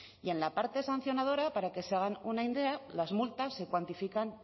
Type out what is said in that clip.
y en la parte sancionadora para que se hagan una idea las multas se cuantifican